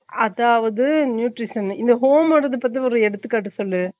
அதாவது nutrition னு இந்த home ஓடாது பத்தி ஒரு எடுத்துகாட்டு சொல்லு